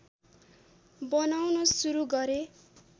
बनाउन सुरु गरे